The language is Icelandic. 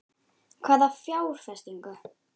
Hvaða fjárfestingu?